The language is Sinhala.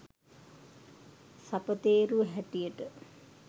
සපතේරුව හැටියට